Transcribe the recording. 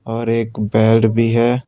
और एक बेल्ट भी है।